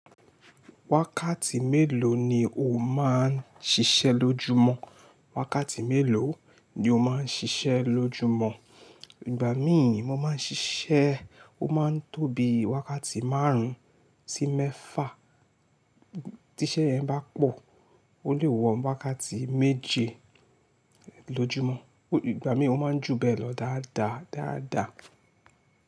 Wákàtí mélòó ni o máa ń ṣiṣẹ́ lójúmọ́? Wákàtí mélòó ni o máa ń ṣiṣẹ́ lójúmọ́? Ìgbà míì mo máa ń ṣiṣẹ́, ó máa ń tóbi wákàtí márùn-ún sí mẹ́fà. Tí iṣẹ́ yẹn bá pọ̀, ó lè wọ́ wákàtí méje lójúmọ́. Ìgbà míì ó máa ń jù bẹ́ẹ̀ lọ dáadáa dáadáa.